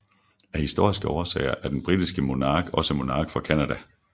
Af historiske årsager er den britiske monark også monark for Canada